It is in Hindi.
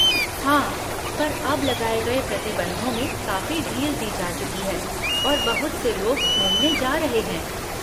हाँ, पर अब लगाए गए प्रतिबंधों में कीफी ढील दी जा चुकी है और बहुत से लोग घूमने जा रहे हैं।